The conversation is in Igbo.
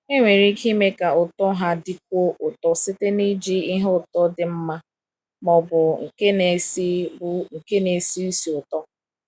Enwere ike ime ka ụtọ ha dịkwuo ụtọ site n’iji ihe ụtọ dị mma ma ọ bụ nke na-esi bụ nke na-esi ísì ụtọ.